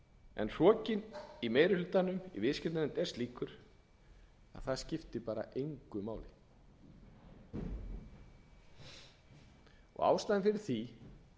en hrokinn í meiri hlutanum í viðskiptanefnd er slíkur að það skiptir engu máli og ástæðan fyrir því